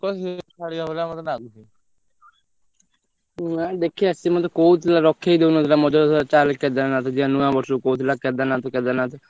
ନାଇ ଦେଖିବା ସିଏ ମତେ କହୁଥିଲା ରଖେଇ ଦଉନଥିଲା ମଝିରେ କହୁଥିଲା ଚାଲେ କେଦାରନାଥ ଯିବା ନୂଆବର୍ଷ କୁ କହୁଥିଲା କେଦାରନାଥ କେଦାରନାଥ ଯାହାବି ହଉ ଗଲା ତ କାଇଁ ନୂଆବର୍ଷ କୁ ଯାଇଥିଲା ବା ଆମ ସହିତ picnic ତିନ ଚାରି ଦିନ।